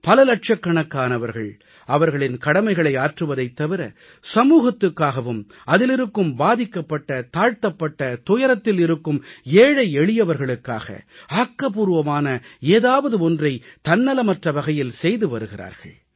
பல லட்சக்கணக்கானவர்கள் அவர்களின் கடமைகளை ஆற்றுவதைத் தவிர சமூகத்துக்காகவும் அதில் இருக்கும் பாதிக்கப்பட்டதாழ்த்தப்பட்டதுயரத்தில் இருக்கும் ஏழை எளியவர்களுக்காக ஆக்கபூர்வமான ஏதாவது ஒன்றை தன்னலமற்ற வகையில் செய்து வருகிறார்கள்